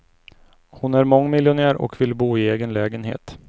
Hon är mångmiljonär och vill bo i egen lägenhet.